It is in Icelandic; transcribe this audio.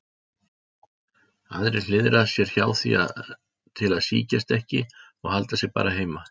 Aðrir hliðra sér hjá því til að sýkjast ekki og halda sig bara heima.